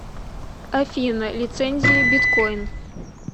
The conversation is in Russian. афина лицензия биткойн